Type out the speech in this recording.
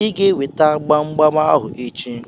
Ị ga-eweta gbam gbam ahụ echi.